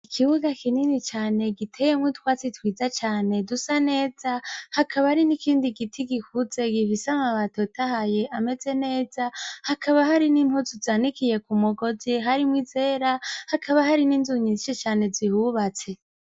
Ikibuga kinini cane giteyemw’utwatsi twiza cane dusa neza , hakaba hari n’ikindi giti gikuze , gifis’amababi atotahaye ameze neza, hakaba hari n’impuzu zanikiye kumugozi, harimw’izera, hakaba hari n’inzu nyinshi cane zihubatse.